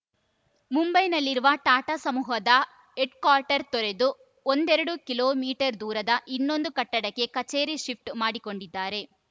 ಮುಂಬೈನಲ್ಲಿರುವ ಟಾಟಾ ಸಮೂಹದ ಹೆಡ್‌ಕ್ವಾರ್ಟರ್‌ ತೊರೆದು ಒಂದೆರಡು ಕಿಲೋ ಮೀಟರ್ ದೂರದ ಇನ್ನೊಂದು ಕಟ್ಟಡಕ್ಕೆ ಕಚೇರಿ ಶಿಫ್ಟ್‌ ಮಾಡಿಕೊಂಡಿದ್ದಾರೆ